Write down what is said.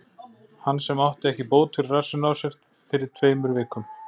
Hann sem átti ekki bót fyrir rassinn á sér fyrir tveimur vikum?